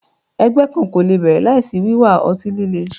Ẹgbẹ kan ko le bẹrẹ laisi wiwa ọti-lile